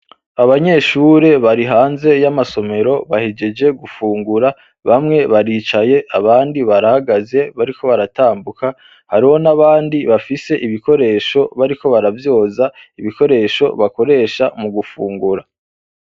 Abanyeshure bari hanze y'amasomero bahejeje gufungura bamwe baricaye abandi barahagaze bariko baratambuka hariho n'abandi bafise ibikoresho bariko baravyoza ibikoresho bakoresha mu gufungura.